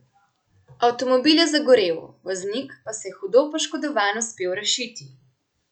Avtomobil je zagorel, voznik pa se je hudo poškodovan uspel rešiti.